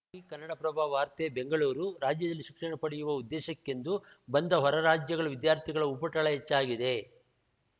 ಚಾಟಿ ಕನ್ನಡಪ್ರಭ ವಾರ್ತೆ ಬೆಂಗಳೂರು ರಾಜ್ಯದಲ್ಲಿ ಶಿಕ್ಷಣ ಪಡೆಯುವ ಉದ್ದೇಶಕ್ಕೆಂದು ಬಂದ ಹೊರ ರಾಜ್ಯಗಳ ವಿದ್ಯಾರ್ಥಿಗಳ ಉಪಟಳ ಹೆಚ್ಚಾಗಿದೆ